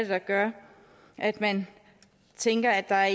der gør at man tænker at der er